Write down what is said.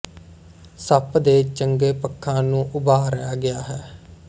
ਸੱਪ ਦੇ ਚੰਗੇ ਪੱਖਾਂ ਨੂੰ ਉਭਾਰਿਆ ਗਿਆ ਹੈ